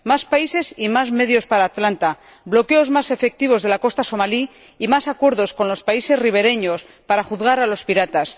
Más países y más medios para Atalanta, bloqueos más efectivos de la costa somalí y más acuerdos con los países ribereños para juzgar a los piratas.